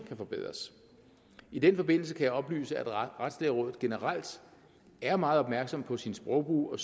kan forbedres i den forbindelse kan jeg oplyse at retslægerådet generelt er meget opmærksom på sin sprogbrug og